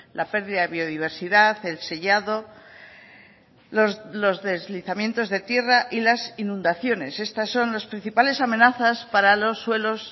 la pérdida de biodiversidad el sellado los deslizamientos de tierra y las inundaciones estas son las principales amenazas para los suelos